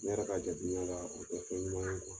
N yɛrɛ ka jan duniya la o tɛ fɛn ɲuman kuwa!